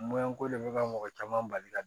ko de bɛ ka mɔgɔ caman bali ka